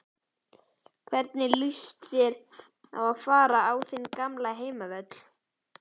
Hvernig lýst þér á að fara á þinn gamla heimavöll?